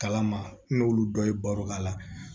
Kala ma n'olu dɔ ye baro k'a la